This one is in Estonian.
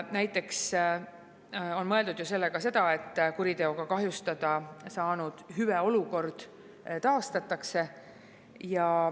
Sellega on mõeldud seda, et kuriteoga kahjustada saanud hüveolukord taastatakse.